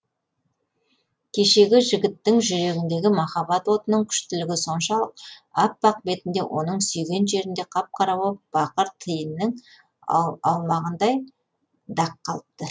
кешегі жігіттің жүрегіндегі махаббат отының күштілігі соншалық аппақ бетінде оның сүйген жерінде қап қара боп бақыр тиіннің аумағындай дақ қалыпты